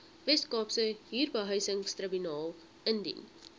weskaapse huurbehuisingstribunaal indien